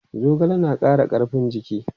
Zogale na ƙara rigakafin jiki.